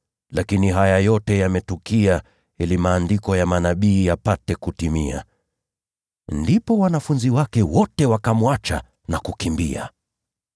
Lakini haya yote yametukia ili maandiko ya manabii yapate kutimia.” Ndipo wanafunzi wake wote wakamwacha na kukimbia.